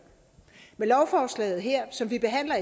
med lovforslaget som vi behandler